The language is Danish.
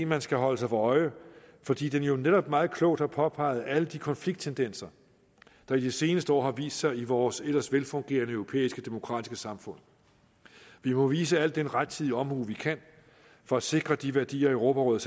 man skal holde sig for øje fordi den jo netop meget klogt har påpeget alle de konflikttendenser der i de seneste år har vist sig i vores ellers velfungerende europæiske demokratiske samfund vi må vise al den rettidige omhu vi kan for at sikre de værdier europarådet